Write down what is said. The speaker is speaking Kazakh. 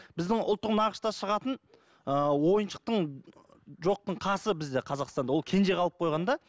біздің ұлттық нақышта шығатын ыыы ойыншықтың жоқтың қасы бізде қазақстанда ол кенже қалып қойған да